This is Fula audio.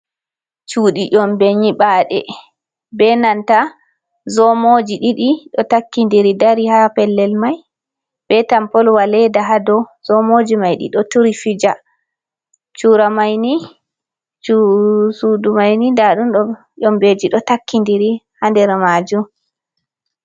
Cuɗi ƴombe nyibade be nanta zomoji ɗiɗi ɗo takkinɗiri ɗari ha pellel mai. be tampolwa leɗa ha ɗow. Zomoji maivl ɗiɗo turi fija. Chura maini suuɗu maini ɗaɗunɗo ƴombeji ɗo takkinɗiri ha nɗer majum.